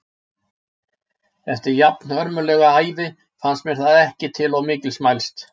Eftir jafnhörmulega ævi fannst mér það ekki til of mikils mælst.